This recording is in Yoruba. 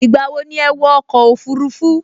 Ìgbà wo ni ẹ wọ ọkọ̀ òfurufú??